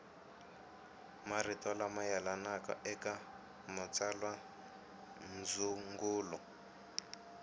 marito lama yelanaka eka matsalwandzungulo